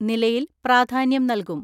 നിലയിൽ പ്രാധാന്യം നൽകും.